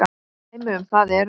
Dæmi um það eru